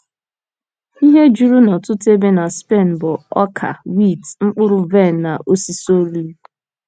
Ihe juru n’ọtụtụ ebe na Spen bụ ọka wit, mkpụrụ vaịn na osisi oliv.